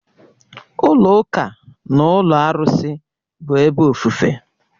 Ụlọ ụka na ụlọ arụsị bụ ebe ofufe